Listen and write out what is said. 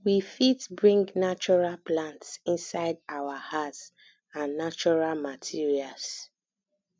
we fit bring natural plants inside our house and natural materials